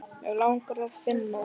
Mig langar að finna þig.